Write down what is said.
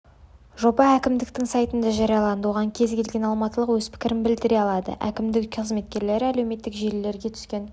жоба әкімдіктің сайтында жарияланды оған кез-келген алматылық өз пікірін білдіре алады әкімдік қызметкерлері әлеуметтік желілерге түскен